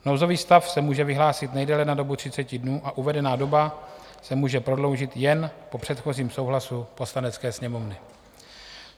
Nouzový stav se může vyhlásit nejdéle na dobu 30 dnů a uvedená doba se může prodloužit jen po předchozím souhlasu Poslanecké sněmovny.